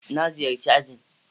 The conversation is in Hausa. Na ziyarci ajin.